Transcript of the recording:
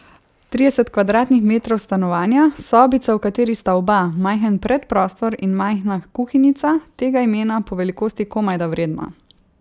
Trideset kvadratnih metrov stanovanja, sobica, v kateri sta oba, majhen predprostor in majhna kuhinjica, tega imena po velikosti komajda vredna.